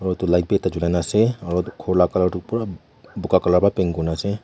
utu light bi ekta chulai na ase aro itu ghor la color toh pura buka color wa paint kurina ase.